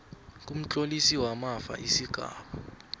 kumtlolisi wamafa isigaba